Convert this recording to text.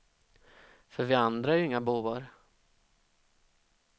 För vi andra är ju inga bovar.